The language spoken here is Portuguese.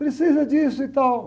Precisa disso e tal.